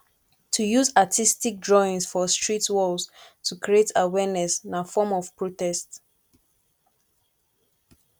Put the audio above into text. to use artistc drawings for street walls to create awearness na form of protest